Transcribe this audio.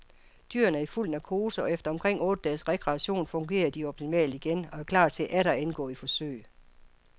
Dyrene er i fuld narkose, og efter omkring otte dages rekreation fungerer de optimalt igen og er klar til atter at indgå i forsøg.